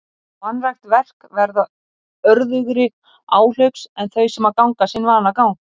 Og vanrækt verk verða örðugri áhlaups en þau sem ganga sinn vanagang.